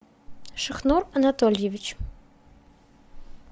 шахнур анатольевич